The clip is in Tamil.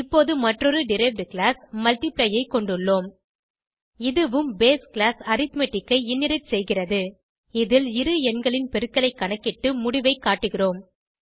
இப்போது மற்றொரு டெரைவ்ட் கிளாஸ் மல்ட்டிப்ளை ஐ கொண்டுள்ளோம் இதுவும் பேஸ் கிளாஸ் அரித்மெட்டிக் ஐ இன்ஹெரிட் செய்கிறது இதில் இரு எண்களின் பெருக்கலைக் கணக்கிட்டு முடிவைக் காட்டுகிறோம்